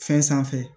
Fɛn sanfɛ